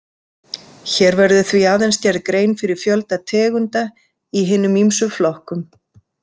Hér verður því aðeins gerð grein fyrir fjölda tegunda í hinum ýmsu flokkum.